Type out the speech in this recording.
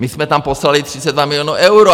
My jsme tam poslali 32 milionů euro.